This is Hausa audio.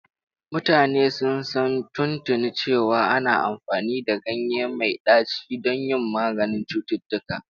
Mutane sun san tuntuni cewa ana amfani da ganye mai ɗaci don yin maganin cututtuka.